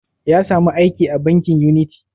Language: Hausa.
Ya samu aiki a bankin uniti?